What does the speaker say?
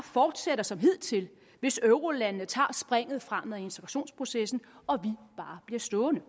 fortsætter som hidtil hvis eurolandene tager springet frem med integrationsprocessen og vi bare bliver stående